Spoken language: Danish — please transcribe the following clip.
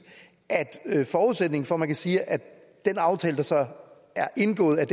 at forudsætningen for at man kan sige at den aftale der så er indgået er